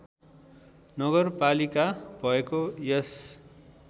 नगरपालिका भएको यस